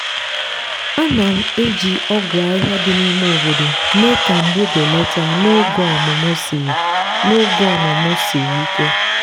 a na'm eji ogwu ahịhịa dị n'ime obodo mee ka mgbu belata n'oge ọmụmụ siri n'oge ọmụmụ siri ike.